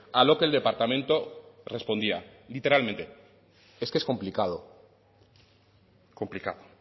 a lo que el departamento respondía literalmente es que es complicado complicado